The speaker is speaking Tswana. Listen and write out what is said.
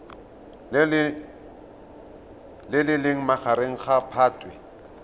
le leng magareng ga phatwe